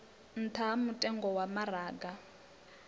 nṱha ha mutengo wa maraga